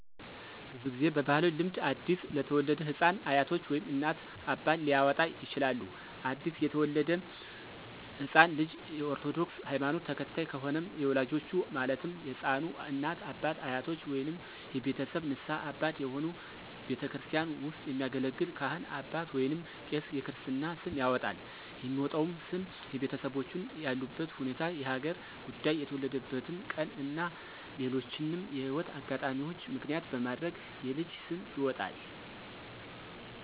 ብዙ ጊዜ በባህላዊ ልምድ አዲስ ለተወለደ ህፃን አያቶች ወይም እናት፣ አባት ሊያወጣ ይችላል። አዲስ የተወለደው ህፃን ልጅ የ ኦርቶዶክስ ሀይማኖት ተከታይ ከሆነም የወላጆቹ ማለትም የህፃኑ እናት፣ አባት፣ አያቶች ወይንም የቤተሰብ ንስሀ አባት የሆኑ ቤተክርስቲያን ውስጥ የሚያገለግል ካህን አባት ወይንም ቄስ የክርስትና ስም ያወጣል። የሚወጣውም ስም የቤተሰቦቹን ያሉበት ሁኔታ፣ የሀገር ጉዳይ፣ የተወለደበትን ቀን እና ሌሎችንም የህይወት አጋጣሚዎች ምክንያት በማድረግ የልጅ ስም ይወጣል።